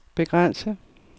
begrænse